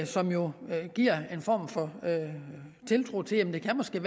som jo giver en form for tiltro til at det måske